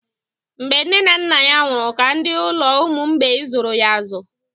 Mgbe nne na nna ya nwụrụ ka ndị ụlọ ụmụ mgbei zụrụ ya azụ.